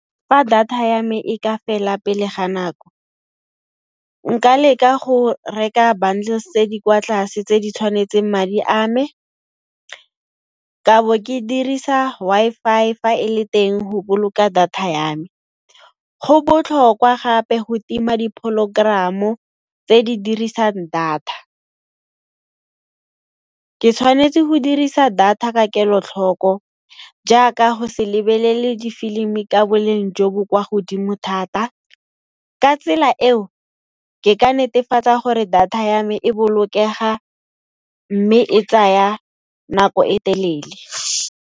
Fa data ya me e ka fela pele ga nako, nka leka go reka bundles tse di kwa tlase tse di tshwanetseng madi a me, ka bo ke dirisa Wi-Fi fa e le teng ho boloka data ya me. Go botlhokwa gape ho tima dipholo-gram-o tse di dirisang data. Ke tshwanetse ho dirisa data ka kelotlhoko jaaka ho se lebelele difilmi ka boleng jo bo kwa godimo thata. Ka tsela eo ke ka netefatsa gore data ya me e bolokega mme e tsaya nako e telele.